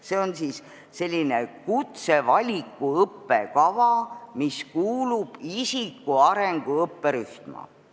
See on selline kutsevaliku õppekava, mis kuulub isikuarengu õppekavarühma.